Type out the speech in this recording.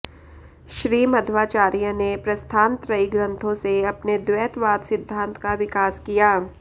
श्री मध्वाचार्य ने प्रस्थानत्रयी ग्रंथों से अपने द्वैतवाद सिद्धांत का विकास किया